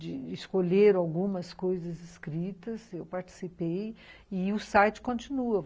de escolher algumas coisas escritas, eu participei, e o site continua.